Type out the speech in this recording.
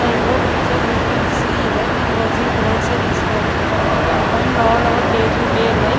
the above picture we can see that it was a grocery store we can find all our day to day life.